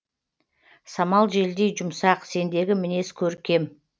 самал желдей жұмсақ сендегі мінез көркем